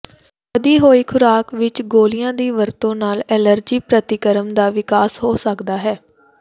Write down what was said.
ਵਧੀ ਹੋਈ ਖ਼ੁਰਾਕ ਵਿੱਚ ਗੋਲੀਆਂ ਦੀ ਵਰਤੋਂ ਨਾਲ ਐਲਰਜੀ ਪ੍ਰਤੀਕਰਮ ਦਾ ਵਿਕਾਸ ਹੋ ਸਕਦਾ ਹੈ